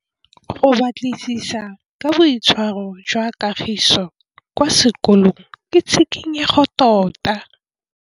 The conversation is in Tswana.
Go batlisisa ka boitshwaro jwa Kagiso kwa sekolong ke tshikinyêgô tota.